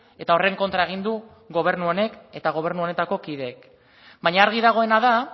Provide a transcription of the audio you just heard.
eta horren kontra egin du gobernu honek eta gobernu honetako kideek baina argi dagoena da